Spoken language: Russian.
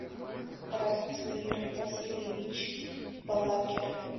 ратмир васильевич балакер